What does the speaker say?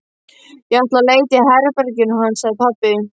Ég ætla að leita í herberginu hans, sagði pabbi.